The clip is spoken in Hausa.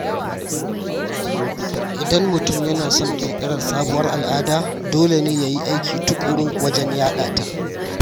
Idan mutum yana son ƙirƙirar sabuwar al’ada, dole ne ya yi aiki tuƙuru wajen yaɗa ta.